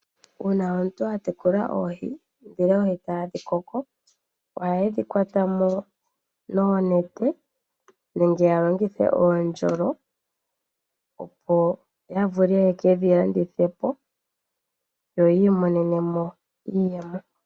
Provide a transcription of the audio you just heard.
Uuna omuntu a tekula oohi etadhi koko ohaye dhi kwata mo noonete nenge ya longithe oondjolo opo ya vule ye kedhi landithepo yo yii imonene mo iiyemo.